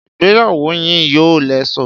Ìgbéyàwó yín yóò léso